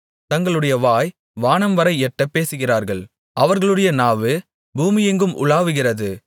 தங்களுடைய வாய் வானம்வரை எட்டப் பேசுகிறார்கள் அவர்களுடைய நாவு பூமியெங்கும் உலாவுகிறது